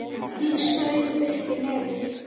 Ég saug upp í nefið.